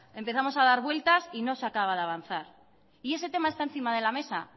empezamos a dar vueltas y no se acaba de avanzar y ese tema está encima de la mesa